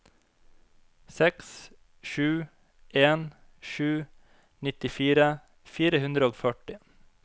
seks sju en sju nittifire fire hundre og førti